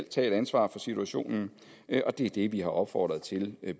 tage et ansvar for situationen og det er det vi har opfordret til at